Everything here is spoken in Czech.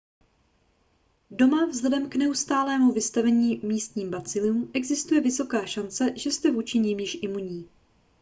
doma vzhledem k neustálému vystavení místním bacilům existuje vysoká šance že jste vůči nim již imunní